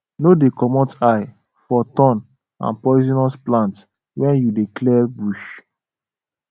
no dey comot eye for thorn and poisonous plant when you dey clear bush